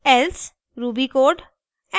else ruby code